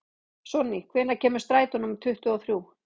Sonný, hvenær kemur strætó númer tuttugu og þrjú?